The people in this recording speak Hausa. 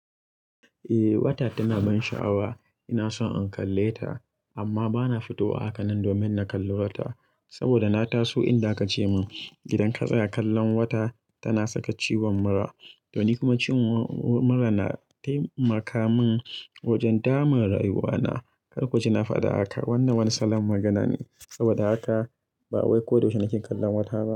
Eh, wata tana ban sha'awa. Ina so in kalle ta amma bana fitowa haka nan domin na kalli wata. Saboda na taso inda aka ce min idan ka tsaya kallon wata tana saka ciwon mura. Don ni kuma ciwon mura na taimaka min wajen dama rayuwa na. Kar ku ji na faɗa haka. Wannan wani salon magana ne. Saboda haka ba wai ko da yaushe nake kallon wata ba.